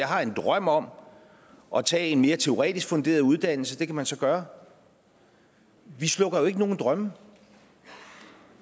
har en drøm om at tage en mere teoretisk funderet uddannelse og det kan man så gøre vi slukker jo ikke nogen drømme